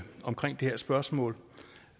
har et spørgsmål